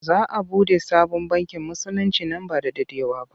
Za a buɗe sabon bankin Musulinci nan ba da daɗewa ba.